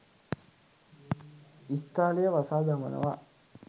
ඉස්තාලය වසා දමනවා